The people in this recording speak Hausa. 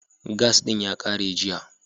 Gas ɗin ya ƙare jiya.